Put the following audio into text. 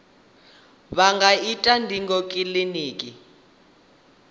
vha nga ita ndingo kiliniki